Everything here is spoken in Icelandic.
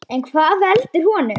En hvað veldur honum?